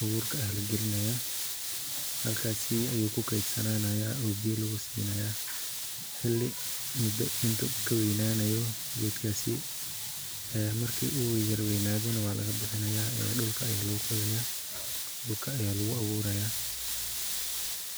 abuurka ah lagelinaya, halkas ayu kukedsananaya oo biyo lugu sinaya xili mudo intu kaweynaayo gedkaasi ee marki uu yar weynaado na waa laga bixinaya dhulka aya loo qodaya dhulka aya lugu abuuraya